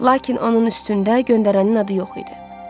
Lakin onun üstündə göndərənin adı yox idi.